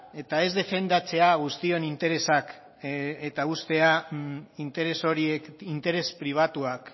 eta ez defendatzea guztion interesak eta uztea interes horiek interes pribatuak